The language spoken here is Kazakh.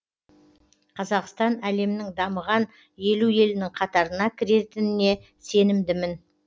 қазақстан әлемнің дамыған елу елінің қатарына кіретініне сенімдімін